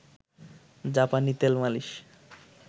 জাপানি তেল মালিশ